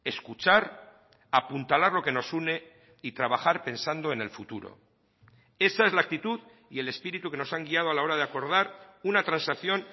escuchar apuntalar lo que nos une y trabajar pensando en el futuro esa es la actitud y el espíritu que nos han guiado a la hora de acordar una transacción